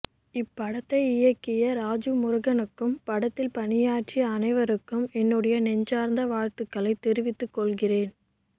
இப்படத்தை இயக்கிய ராஜு முருகனுக்கும் படத்தில் பணியாற்றிய அனைவருக்கும் என்னுடைய நெஞ்சார்ந்த வாழ்த்துக்களை தெரிவித்து கொள்கிறேன்